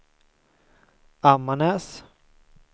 Ammarnäs